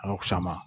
A ka fisa ma